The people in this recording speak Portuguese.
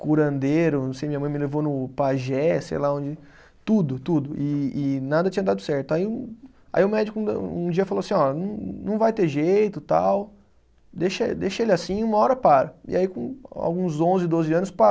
Curandeiro, não sei, minha mãe me levou no pajé, sei lá onde, tudo, tudo, e e nada tinha dado certo, aí um, aí o médico um dia falou assim, ó, não não vai ter jeito, tal, deixa deixa ele assim, uma hora para, e aí com alguns onze, doze anos pa